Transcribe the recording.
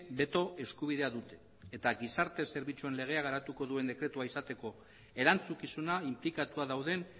beto eskubidea dute eta gizarte zerbitzuen legea garatuko duen dekretua izateko erantzukizuna inplikatua dauden